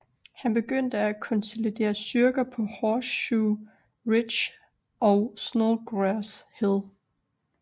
Han begyndte at konsolidere styrker på Horseshoe Ridge og Snodgrass Hill